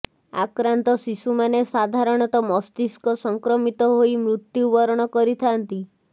ଆକ୍ରାନ୍ତ ଶିଶୁମାନେ ସାଧାରଣତଃ ମସ୍ତିଷ୍କ ସଂକ୍ରମିତ ହୋଇ ମୃତୁ୍ୟବରଣ କରିଥାଆନ୍ତି